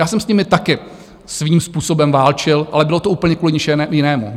Já jsem s nimi taky svým způsobem válčil, ale bylo to úplně kvůli něčemu jinému.